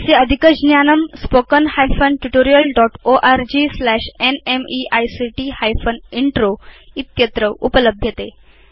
अस्य अधिकज्ञानम् spoken hyphen tutorial dot org slash न्मेइक्ट हाइफेन इन्त्रो इत्यत्र उपलभ्यते